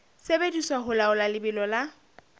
sebediswa ho laola lebelo la